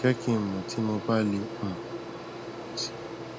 jẹ kí n mọ tí mo bá lè um ràn ọ lọwọ si